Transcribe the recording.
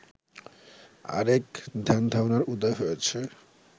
আর এক ধ্যানধারণার উদয় হয়েছে